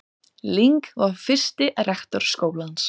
Ling var fyrsti rektor skólans.